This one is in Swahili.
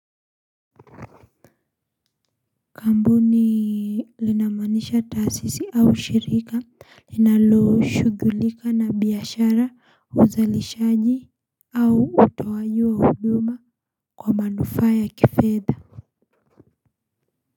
Kampuni linamaanisha taasisi au shirika linalo shughulika na biashara uzalishaji au utowajiwa huduma kwa manufaa ya kifedha.